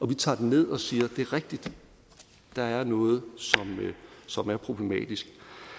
vi tager den ned og siger det er rigtigt der er noget som er problematisk